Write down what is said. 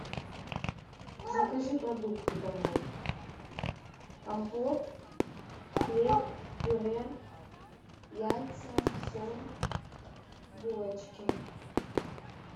закажи продукты домой компот хлеб пюре яйца соль булочки